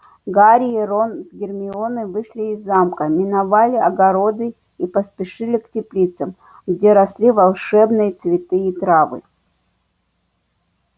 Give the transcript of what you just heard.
гарри и рон с гермионой вышли из замка миновали огороды и поспешили к теплицам где росли волшебные цветы и травы